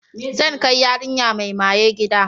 Zan kai yarinya mai maye gida.